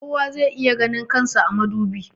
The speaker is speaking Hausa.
kowa zai iya ganin kan sa a madubi